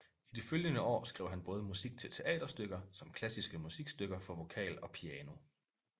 I de følgende år skrev han både musik til teaterstykker som klassiske musikstykker for vokal og piano